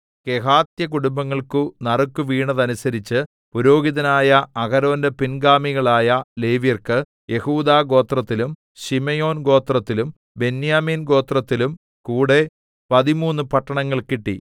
കെഹാത്യകുടുംബങ്ങൾക്കു നറുക്കുവീണതനുസരിച്ച് പുരോഹിതനായ അഹരോന്റെ പിൻ ഗാമികളായ ലേവ്യർക്ക് യെഹൂദാഗോത്രത്തിലും ശിമെയോൻ ഗോത്രത്തിലും ബെന്യാമീൻ ഗോത്രത്തിലും കൂടെ പതിമൂന്ന് പട്ടണങ്ങൾ കിട്ടി